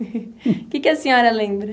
O que que a senhora lembra?